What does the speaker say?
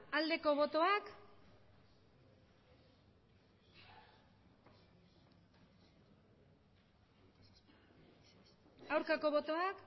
aldeko botoak aurkako botoak